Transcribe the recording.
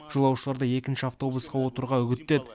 жолаушыларды екінші автобусқа отыруға үгіттеді